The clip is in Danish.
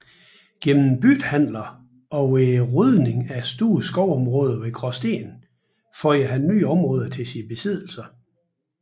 Gennem byttehandler og ved rydning af store skovområder ved Graasten føjede han nye områder til sine besiddelser